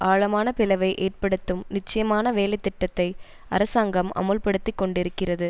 ஆழமான பிளவை ஏற்படுத்தும் நிச்சயமான வேலை திட்டத்தை அரசாங்கம் அமுல் படுத்தி கொண்டிருக்கிறது